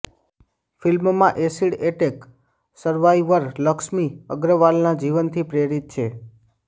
film acid attack survivor Laxmi અગ્રવાલના જીવનથી પ્રેરિત છે